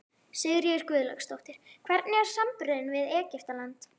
Sigríður Guðlaugsdóttir: Hvernig er samanburðurinn við Egyptaland?